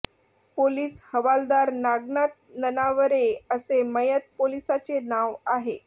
police हवालदार नागनाथ ननावरे असे मयत पोलिसाचे नाव आहे